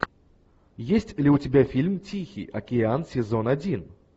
есть ли у тебя фильм тихий океан сезон один